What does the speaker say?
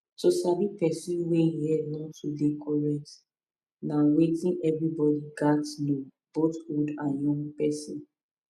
to sabi person wey e head no too dey correct na weyth everybody gats know both old and young person